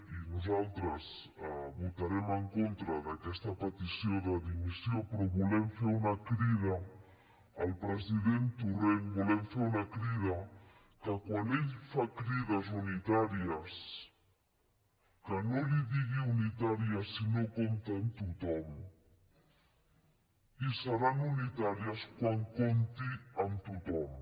i nosaltres votarem en contra d’aquesta petició de dimissió però volem fer una crida al president torrent volem fer una crida que quan ell fa crides unitàries que no en digui unitàries si no compta amb tothom i seran unitàries quan compti amb tothom